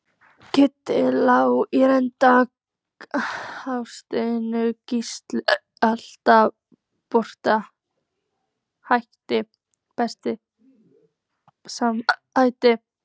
Kiddi Lár í reit, Hálfdán Gísla alltof brothættur Besti samherjinn?